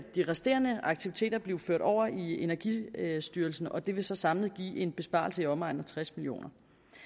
de resterende aktiviteter blive ført over i energistyrelsen og det vil så samlet give en besparelse i omegnen af tres million